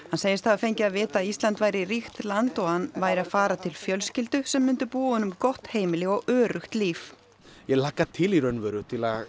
hann segist hafa fengið að vita að Ísland væri ríkt land og að hann væri að fara til fjölskyldu sem myndi búa honum gott heimili og öruggt líf ég hlakkaði til í raun og veru